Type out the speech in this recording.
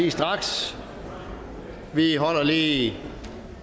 lige straks vi holder lige